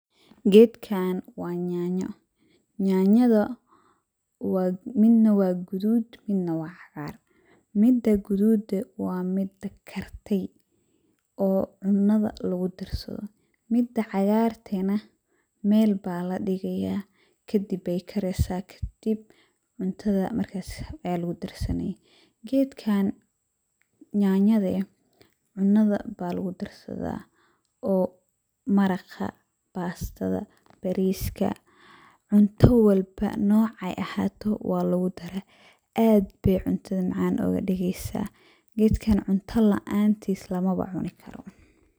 Gedkan wa nyanya, nyanyada wa midna wa gadud midna wa caqaar, mida gadude wa mida kartey oo cunada lagudarsado, mida cagarte nah, meel baladigaya kadib ay kareysa, kadib cuntada markas lagudarsani, gedkan nyanyada eh cunada ba lagudarsada, oo maraqaa, pastada, barisk, cunta walbo nocay ahato wa lagudara, aad bay cuntada macan ogadigeysa, geedkan cunta laantis lamawa cunikaro.